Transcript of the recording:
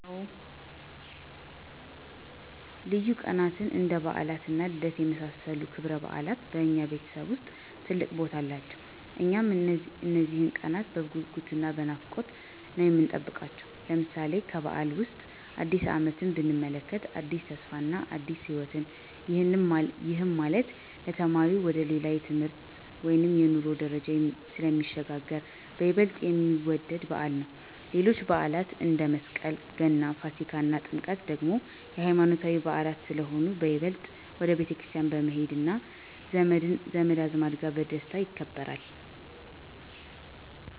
ልዩ ቀናትን እንደ በዓላት እና ልደት የመሳሰሉት ክብረበዓላት በእኛ ቤተሰብ ውስጥ ትልቅ ቦታ አላቸው። እኛም እነዚህን ቀናት በጉጉት እና በናፍቆት ነው የምንጠብቃቸው። ለምሳሌ፦ ከበዓላት ዉስጥ አዲስ አመትን ብንመለከት አዲስ ተስፋ እና አዲስ ህይወትን፤ ይሄም ማለት ለተማሪው ወደ ሌላ የትምህርት ወይም የኑሮ ደረጃ ስለሚሸጋገር በይበልጥ የሚወደድ በዓል ነው። ሌሎችም በዓላት አንደ፦ መስቀል፣ ገና፣ ፋሲካ እና ጥምቀት ደግሞ የሃይማኖታዊ በዓላት ስለሆኑ በይበልጥ ወደ ቤተክርስቲያን በመሄድ እና ዘመድ አዝማድ ጋር በደስታ ይከበራል።